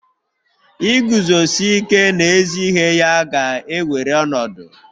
Iguzosi ike n'ezi ihe ya ga-ewere ọnọdụ